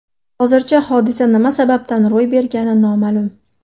Hozircha hodisa nima sababdan ro‘y bergani noma’lum.